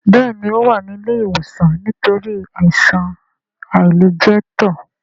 Béèni o wá ní ilé ìwòsan nítorí Àìsàn àìlẹjẹtó.